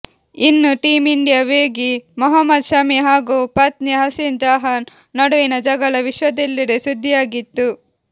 ಇನ್ನೂ team India ವೇಗಿ ಮೊಹಮ್ಮದ್ ಶಮಿ ಹಾಗೂ ಪತ್ನಿ ಹಸಿನ್ ಜಹಾನ್ ನಡುವಿನ ಜಗಳ ವಿಶ್ವದೆಲ್ಲೆಡೆ ಸುದ್ದಿಯಾಗಿತ್ತು